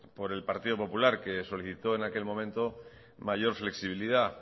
por el partido popular que solicitó en aquel momento mayor flexibilidad